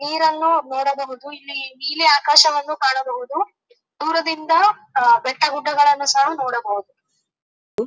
ನೀರನ್ನು ನೋಡಬಹುದು ಇಲ್ಲಿ ನೀಲಿ ಆಕಾಶವನ್ನು ಕಾಣಬಹುದು ದೂರದಿಂದ ಬೆಟ್ಟ ಗುಡ್ಡಗಳನ್ನು ಸಹ ನೋಡಬಹುದು.